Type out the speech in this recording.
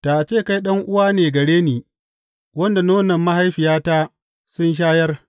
Da a ce kai ɗan’uwa ne gare ni, wanda nonon mahaifiyata sun shayar!